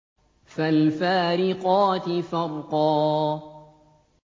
فَالْفَارِقَاتِ فَرْقًا